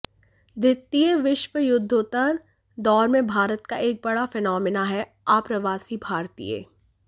द्वितीय विश्वयुद्धोत्तर दौर में भारत का एक बड़ा फिनोमिना है आप्रवासी भारतीय